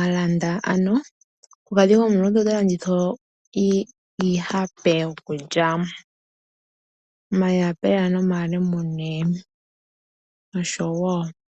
alanda ano. Omukulukadhi omuluudhe ota landitha iihape yokulya. Omayapela nomalemune nosho wo.